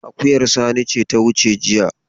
Akuyar Sani ce ta wuce jiya.